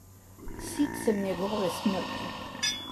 Sit sem njegove smrti!